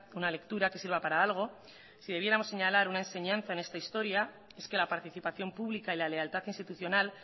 una lectura que sirva para algo si debiéramos señalar una enseñanza en esta historia es que la participación pública y la lealtad institucional